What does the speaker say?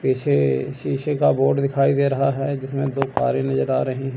ऐसे शीशे का बोर्ड दिखाई दे रहा है जिसमें दो तारे नजर आ रहें--